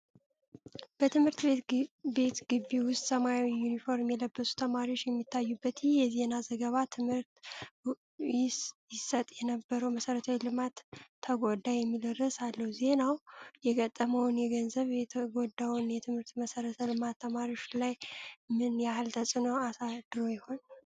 በትምህርት ቤት ግቢ ውስጥ ሰማያዊ ዩኒፎርም የለበሱ ተማሪዎች የሚታዩበት ይህ የዜና ዘገባ፣ "ትምህርት ይሰጥ የነበረው መሠረተ ልማት ተጎዳ" የሚል ርዕስ አለው። ዜናው የገጠመውን የገንዘብ፣ የተጎዳው የትምህርት መሠረተ ልማት ተማሪዎች ላይ ምን ያህል ተፅዕኖ አሳድሮ ይሆን?